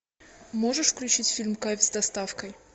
можешь включить фильм кайф с доставкой